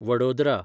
Vadodara